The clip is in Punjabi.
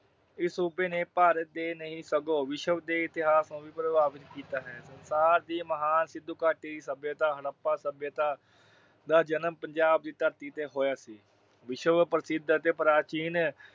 ਇਸ ਸੂਬੇ ਨੇ ਭਾਰਤ ਦੇ ਹੀ ਨਹੀਂ ਸਗੋਂ ਵਿਸ਼ਵ ਦੇ ਇਤਿਹਾਸ ਨੂੰ ਵੀ ਪ੍ਰਭਾਵਿਤ ਕੀਤਾ ਹੈ। ਭਾਰਤ ਦੀ ਮਹਾਨ ਸਿੰਧੂ ਘਾਟੀ ਦੀ ਸੱਭਿਅਤਾ ਹੜੱਪਾ ਸੱਭਿਅਤਾ ਦਾ ਜਨਮ ਪੰਜਾਬ ਦੀ ਧਰਤੀ ਤੇ ਹੋਇਆ ਸੀ। ਵਿਸ਼ਵ ਪ੍ਰਸਿੱਧ ਅਤੇ ਪ੍ਰਾਚੀਨ